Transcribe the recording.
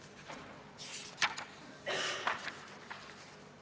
Kas te selgitaksite, millistele argumentidele tuginedes rahanduskomisjon sellise otsuse tegi?